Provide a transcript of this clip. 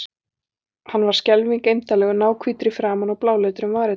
Hann var skelfing eymdarlegur, náhvítur í framan og bláleitur um varirnar.